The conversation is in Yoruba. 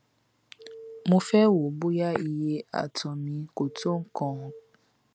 mo fẹ wò ó bóyá iye àtọ mi kò tó nǹkan